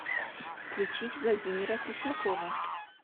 включить владимира преснякова